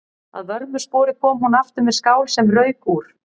Að vörmu spori kom hún aftur með skál sem rauk úr.